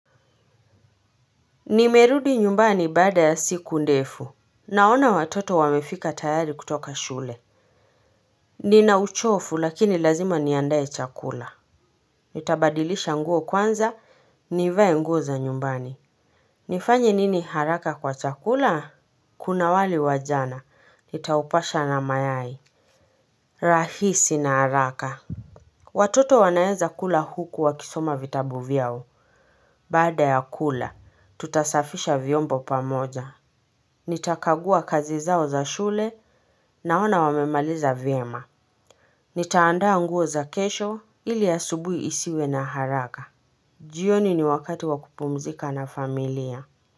Nimerudi nyumbani baada ya siku ndefu Naona watoto wamefika tayari kutoka shule Nina uchovu lakini lazima niandae chakula Nitabadilisha nguo kwanza, nivae nguo za nyumbani nifanye nini haraka kwa chakula? Kuna wali wa jana, nitaupasha na mayai rahisi na haraka Watoto wanaeza kula huku wakisoma vitabu vyao, baada ya kula, tutasafisha vyombo pamoja Nitakagua kazi zao za shule naona wamemaliza vyema Nitaandaa nguo za kesho ili asubuhi isiwe na haraka jioni ni wakati wa kupumzika na familia.